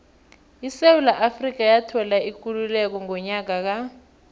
isewula afrika yathola ikululeko ngonyaka ka